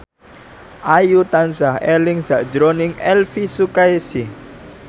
Ayu tansah eling sakjroning Elvy Sukaesih